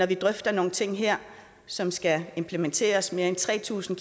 vi drøfter nogle ting her som skal implementeres mere end tre tusind